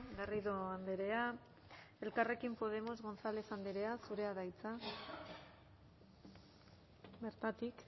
garrido andrea elkarrekin podemos gonzález andrea zurea da hitza bertatik